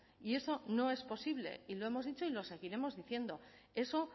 y eso no es posible y lo hemos dicho y lo seguiremos diciendo eso